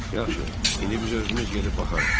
Yaxşı, indi biz özümüz gedib baxarıq.